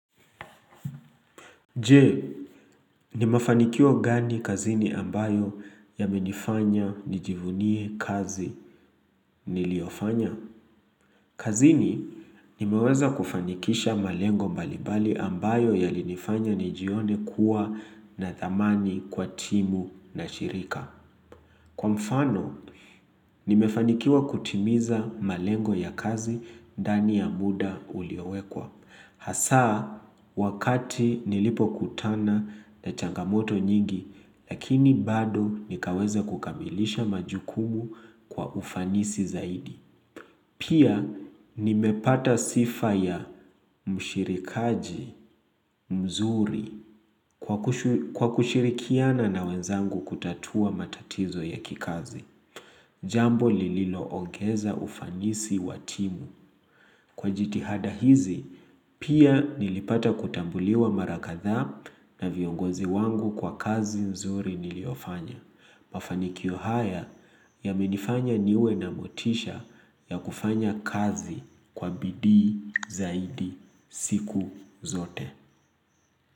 Je, ni mafanikio gani kazini ambayo yamenifanya nijivunie kazi niliofanya? Kazini, nimeweza kufanikisha malengo mbalimbali ambayo yalinifanya nijione kuwa na thamani kwa timu na shirika. Kwa mfano, nimefanikiwa kutimiza malengo ya kazi ndani ya muda uliowekwa. Hasaa, wakati nilipokutana na changamoto nyingi, lakini bado nikaweza kukabilisha majukumu kwa ufanisi zaidi. Pia, nimepata sifa ya mshirikaji mzuri kwa kushirikiana na wenzangu kutatua matatizo ya kikazi. Jambo lililo ongeza ufanisi wa timu. Kwa jitihada hizi, pia nilipata kutambuliwa mara kadhaa na viongozi wangu kwa kazi nzuri niliyofanya. Mafanikio haya yamenifanya niwe na motisha ya kufanya kazi kwa bidii zaidi siku zote.